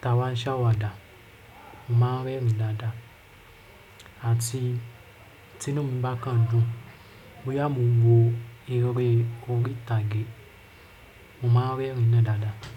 Tí awá ṣàwàdà, mo máa ń rẹ́rìn dáadáa àti tí inú mi bá kàn n dùn, bóyá mo ń wo eré orí ìtàgé, mo máa ń rẹ́rìn náà dáadáa.